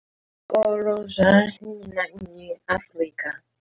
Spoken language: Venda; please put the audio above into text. zwikolo zwa nnyi na nnyi Afrika.